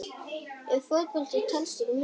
Ef Fótbolti telst ekki með?